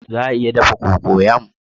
Za a iya dafa cocoyam?